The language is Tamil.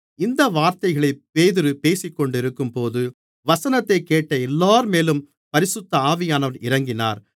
இந்த வார்த்தைகளைப் பேதுரு பேசிக்கொண்டிருக்கும்போது வசனத்தைக் கேட்ட எல்லோர்மேலும் பரிசுத்த ஆவியானவர் இறங்கினார்